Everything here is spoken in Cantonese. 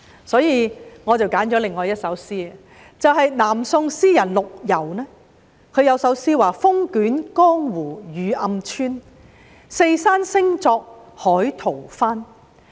因此，我選了另一首南宋詩人陸游的詩句，"風卷江湖雨暗村，四山聲作海濤翻"。